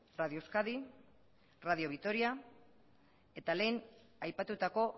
radio euskadi radio vitoria eta lehen aipatutako